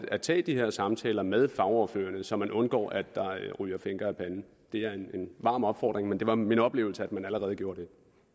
at tage de her samtaler med fagordførerne så man undgår at der ryger finker af panden det er en varm opfordring men det var min oplevelse at man allerede gjorde det